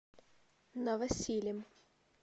новосилем